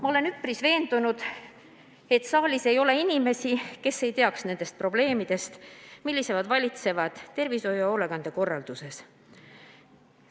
Ma olen üpris veendunud, et saalis ei ole inimesi, kes ei teaks probleeme, mis praegu tervishoius ja hoolekandekorralduses on.